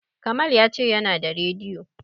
Kamal ya ce yana da radiyo.